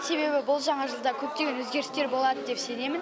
себебі бұл жаңа жылда көптеген өзгерістер болады деп сенемін